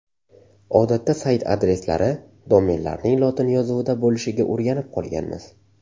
Odatda sayt adreslari, domenlarning lotin yozuvida bo‘lishiga o‘rganib qolganmiz.